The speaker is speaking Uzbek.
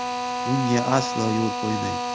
Bunga aslo yo‘l qo‘ymaymiz.